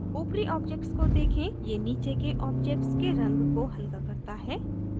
ऊपरी objects को देखें; ये नीचे के objects के रंग को हल्का करता है